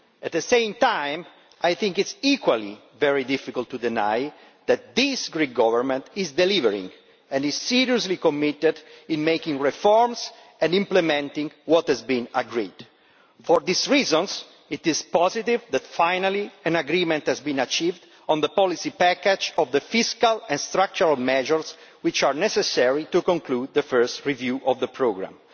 At the same time, I think it is equally very difficult to deny that this Greek Government is delivering and is seriously committed in making reforms and implementing what has been agreed. For these reasons it is positive that an agreement has finally been achieved on the policy package of the fiscal and structural measures which are necessary to conclude the first review of the programme.